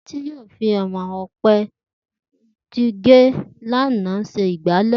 Títí yóò fi àwo̩n ìmò̩ ò̩pe̩ tí gé lánàá s̩e ìgbálè̩